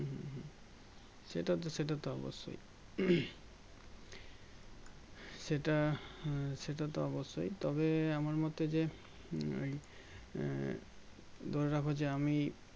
সেটাতো সেটাতো অবশ্যই সেটা আহ সেটাতো অবশ্যই তবে আমার মতে যে উম আহ ধরে রাখো যে আমি